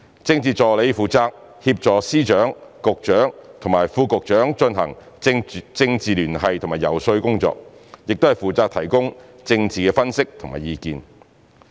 政治助理負責協助司長、局長和副局長進行政治聯繫和遊說工作，亦負責提供政治分析和意見。